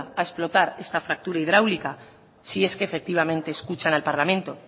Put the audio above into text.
a explotar esta fractura hidráulica si es que efectivamente escuchan al parlamento